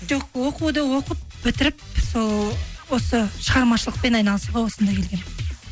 жоқ оқуды оқып бітіріп сол осы шығармышылықпен айналысуға осында келгенмін